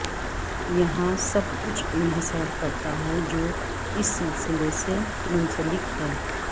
یہاں سب کچھ انحصار کرتا ہے جو اس سلسلے سے منسلک ہے